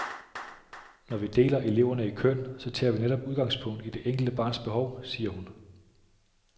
Når vi deler eleverne i køn, så tager vi netop udgangspunkt i det enkelte barns behov, siger hun.